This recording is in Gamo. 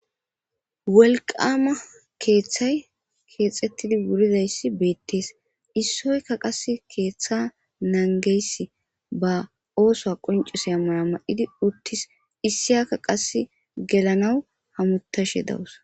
Wolqama keeththay keexettidi buridayssi beettees issoyka qas keeththa nangeys ba oosoa qoncise a mara ma7idi uttis issiyakka qas gelanaw hamutashe dawus.